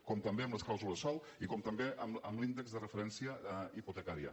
com també amb les clàusules sòl i com també amb l’índex de referència hipotecària